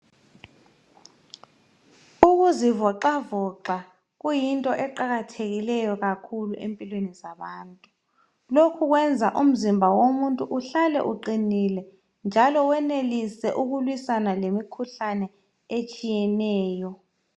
Ukuzivoxavoxa kuyinto eqakathekileyo kakhulu empilweni zabantu lokhu kwenza umzimba womuntu uhlale uqinile njalo wenelise ukulwisana lemikhuhlane etshiyeneyo.